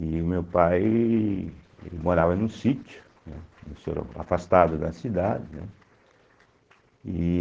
E o meu pai morava num sítio, né, em soro afastado da cidade, né? E